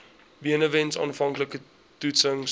benewens aanvanklike toetsings